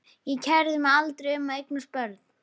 Ég kærði mig aldrei um að eignast börn.